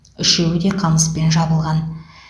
үшеуі де қамыспен жабылған